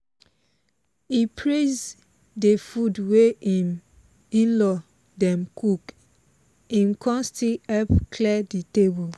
e praise de food wey im in-law dem cook im kon still help clear the table